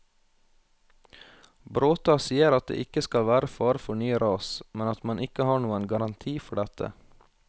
Bråta sier at det ikke skal være fare for nye ras, men at man ikke har noen garanti for dette.